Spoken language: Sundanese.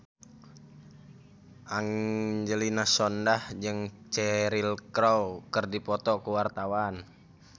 Angelina Sondakh jeung Cheryl Crow keur dipoto ku wartawan